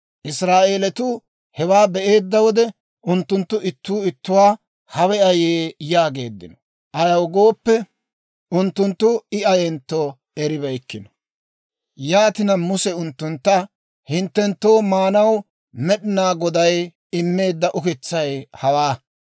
Israa'eeletuu hewaa be'eedda wode, unttunttu ittuu ittuwaa, «Hawe ayee?» yaageeddino. Ayaw gooppe, unttunttu I ayentto eribeykkino. Yaatina Muse unttuntta, «Hinttenttoo maanaw Med'inaa Goday immeedda ukitsay hawaa.